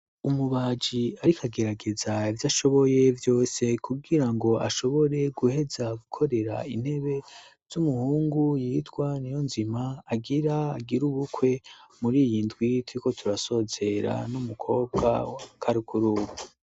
Umubaji ariko agerageza ivyo ashoboye vyose kugira ngo ashobore guheza gukorera intebe z'umuhungu yitwa niyonzima agira agire ubukwe muri iyi ndwi turiko turasozera n'umukobwa wa karukuru.